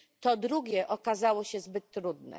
To drugie okazało się zbyt trudne.